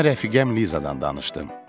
Ona rəfiqəm Lizadan danışdım.